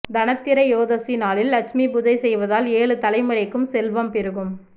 தனத்திரயோதசி நாளில் லட்சுமி பூஜை செய்வதால் ஏழு தலைமுறைக்கும் செல்வம் பெருகும்